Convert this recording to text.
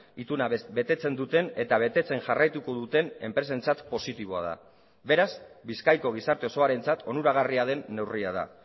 ituna betetzen duten eta betetzen jarraituko duten enpresentzat positiboa da beraz bizkaiko gizarte osoarentzat onuragarria den neurria da